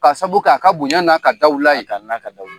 K'a sabu kɛ a ka bonya n'a ka dawula ye